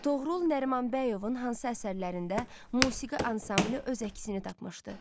Toğrul Nərimanbəyovun hansı əsərlərində musiqi ansamblı öz əksini tapmışdır?